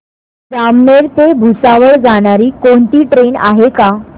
जामनेर ते भुसावळ जाणारी कोणती ट्रेन आहे का